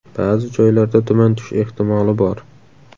Ba’zi joylarda tuman tushish ehtimoli bor.